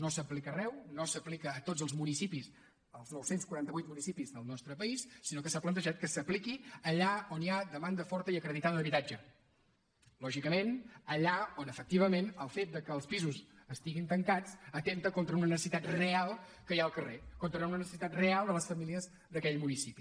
no s’aplica arreu no s’aplica a tots els municipis als nou cents i quaranta vuit municipis del nostre país sinó que s’ha plantejat que s’apliqui allà on hi ha demanda forta i acreditada d’habitatge lògicament allà on efectivament el fet que els pisos estiguin tancats atempta contra una necessitat real que hi ha al carrer contra una necessitat real de les famílies d’aquell municipi